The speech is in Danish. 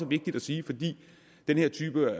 vigtigt at sige for den her type